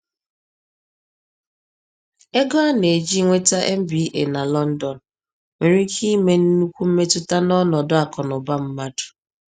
Ego a na-eji nweta MBA na London nwere ike ime nnukwu mmetụta n’ọnọdụ akụ na ụba mmadụ.